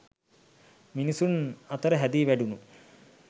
මිනිසුන් අතර හැදී වැඩුණු